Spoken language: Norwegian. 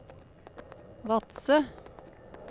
Vadsø